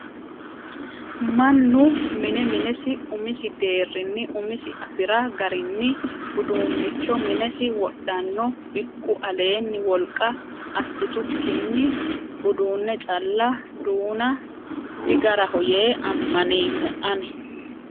Mannu mine minesi umisi deerinni umisi afira garinni uduuncho minesi wodhano bikku aleeni wolqa assitukkinni uduune calla duuna digaraho yee amaneemmo ani